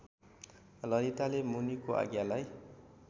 ललिताले मुनिको आज्ञालाई